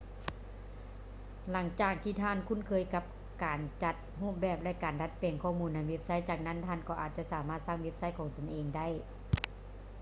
ຫຼັງຈາກທີ່ທ່ານຄຸ້ນເຄີຍກັບການຈັດຮູບແບບ ແລະ ການດັດແປງຂໍ້ມູນໃນເວບໄຊ ຈາກນັ້ນທ່ານກໍອາດຈະສາມາດສ້າງເວັບໄຊຂອງຕົນເອງໄດ້